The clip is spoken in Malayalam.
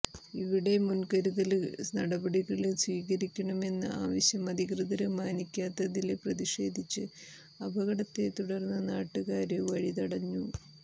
ഇവിടെ മുന്കരുതല് നടപടികള് സ്വീകരിക്കണമെന്ന ആവശ്യം അധികൃതര് മാനിക്കാത്തതില് പ്രതിഷേധിച്ച് അപകടത്തെ തുടര്ന്ന് നാട്ടുകാര് വഴി തടഞ്ഞു